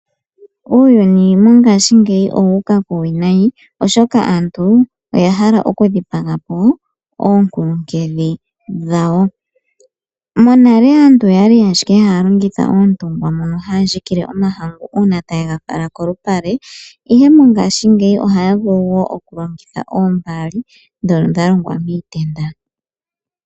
Uuyuni mongashingeyi owuuka kuuwinayi oshoka aantu oya hala okudhipagapo oonkulunkedhi dhawo. Monale aantu oyali haya longitha oontungwa mono haya ndjikile omahqngu ngele taye ga fala kolupale, ihe mongashingeyi ohaya longitha ombaali ndhono dha longwa miitenda.